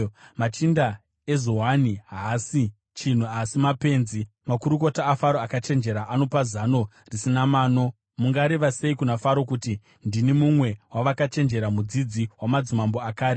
Machinda eZoani haasi chinhu asi mapenzi; makurukota aFaro akachenjera anopa zano risina mano. Mungareva sei kuna Faro, kuti, “Ndini mumwe wavakachenjera, mudzidzi wamadzimambo akare?”